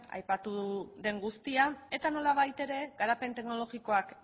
aipatu den guztia eta nolabait ere garapen teknologikoak